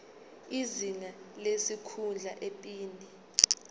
izinga lesikhundla iphini